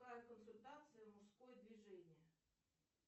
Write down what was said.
консультация мужское движение